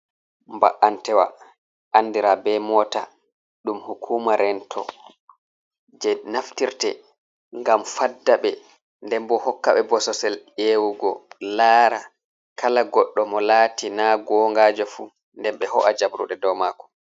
Ba’antewa andira be mota ɗum hukuma rento je naftirte ngam faddabe, den bo hokkaɓɓe bosesel hewugo lara kala goɗɗo mo lati na gongajo fu, nden be ho’a jabruɗe do mako.